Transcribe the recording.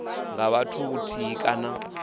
nga vha muthu muthihi kana